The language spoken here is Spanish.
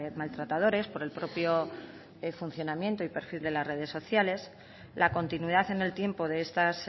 maltratadores por el propio funcionamiento y perfil de las redes sociales la continuidad en el tiempo de estas